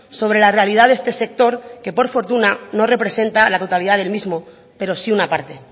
sobre la realidad de este sector que por fortuna no representa la totalidad del mismo pero sí una parte